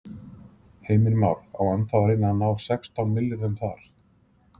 Heimir Már: Á ennþá að reyna að ná sextán milljörðum þar?